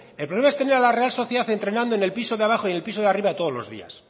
el problema es tener a la real sociedad entrenando en el piso de abajo y en el piso de arriba todos los días